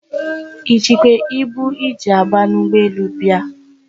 I jikwe ibu I ji aba n'ugboelu bia?